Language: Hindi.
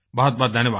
बहुतबहुत धन्यवाद